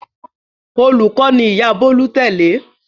Olùkọ́ ni ìyá Bólú tẹ́lẹ̀.